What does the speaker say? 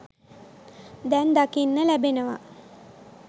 දැන් දකින්න ලැබෙනවා.